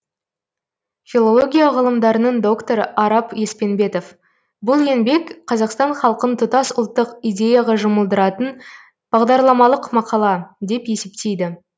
филология ғылымдарының докторы арап еспенбетов бұл еңбек қазақстан халқын тұтас ұлттық идеяға жұмылдыратын бағдарламалық мақала деп есептейді